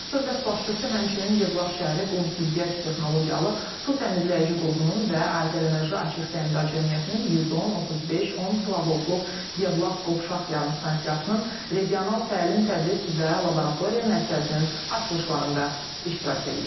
Dövlət başçısı həmçinin Yevlax şəhəri Qum Süzgəc texnologiyalı su təmizləyici qurğunun və Azərenerji Açıq Səhmdar Cəmiyyətinin 110, 35, 10 kilovoltluq Yevlax qovşaq yarımstansiyasının regional təlim-tədris və laboratoriya mərkəzinin açılışlarında iştirak eləyib.